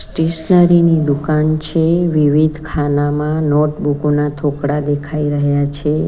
Stationary ની દુકાન છે વિવિધ ખાનામાં નોટબુકો ના થોકડા દેખાઈ રહ્યા છે.